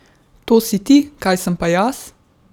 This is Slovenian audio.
To si ti, kaj sem pa jaz?